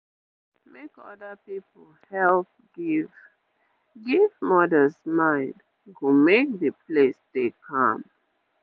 wait make other people help give give mothers mind go make d place dey calm